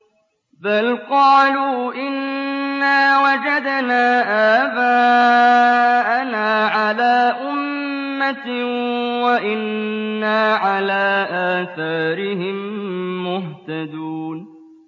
بَلْ قَالُوا إِنَّا وَجَدْنَا آبَاءَنَا عَلَىٰ أُمَّةٍ وَإِنَّا عَلَىٰ آثَارِهِم مُّهْتَدُونَ